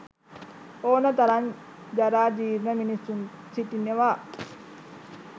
ඔන තරම් ජරා ජීර්ණ මිනිසුන් සිටිනවා.